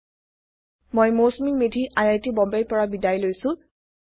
httpspoken tutorialorgNMEICT Intro মই Mousumi Medhi I I T বম্বেৰ পৰা বিদায় লৈছো